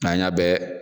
N'an y'a bɛɛ